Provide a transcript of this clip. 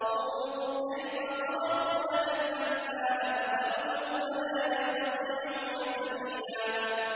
انظُرْ كَيْفَ ضَرَبُوا لَكَ الْأَمْثَالَ فَضَلُّوا فَلَا يَسْتَطِيعُونَ سَبِيلًا